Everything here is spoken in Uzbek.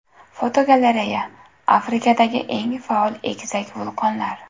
Fotogalereya: Afrikadagi eng faol egizak vulqonlar.